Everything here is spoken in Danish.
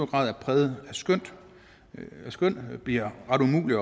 grad er præget af skøn så bliver ret umuligt